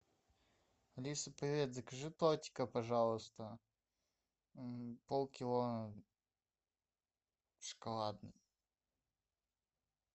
алиса привет закажи тортика пожалуйста полкило шоколадный